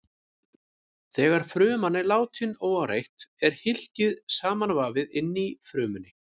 Þegar fruman er látin óáreitt er hylkið samanvafið inni í frumunni.